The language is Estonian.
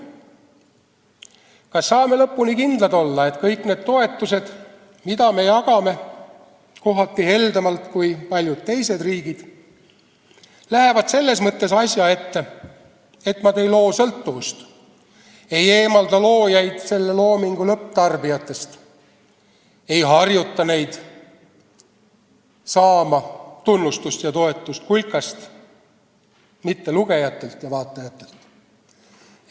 Kas saame lõpuni kindlad olla, et kõik need toetused, mida me jagame kohati heldemalt kui paljud teised riigid, lähevad selles mõttes asja ette, et nad ei loo sõltuvust, ei eemaldada loojaid loomingu lõpptarbijatest, ei harjuta neid saama tunnustust ja toetust kulkast, mitte lugejatelt ja vaatajatelt?